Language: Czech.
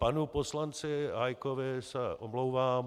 Panu poslanci Hájkovi se omlouvám.